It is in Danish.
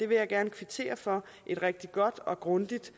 vil gerne kvittere for et rigtig godt og grundigt